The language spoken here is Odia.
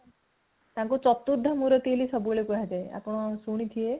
ତାଙ୍କୁ ଚତୃଥ ମୁରାଟି ବୋଲି ସବୁ ବେଳେ କୁହାଯାଏ ଆପଣ ଶୁଣିଥିବେ